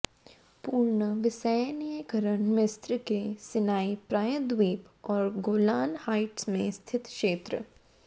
पूर्ण विसैन्यीकरण मिस्र के सिनाई प्रायद्वीप और गोलान हाइट्स में स्थित क्षेत्र